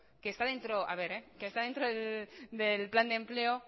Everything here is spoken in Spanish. que está dentro del plan de empleo